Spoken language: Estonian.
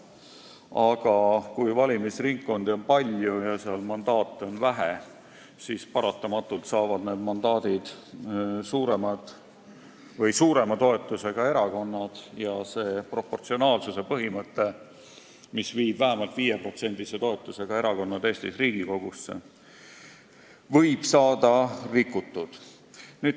Aga kui valimisringkondi on palju ja mandaate seal vähe, siis paratamatult osutuvad valituks suurema toetusega erakonnad ja proportsionaalsuse põhimõte, mis viib vähemalt 5% toetusega erakonnad Eestis Riigikogusse, võib saada rikutud.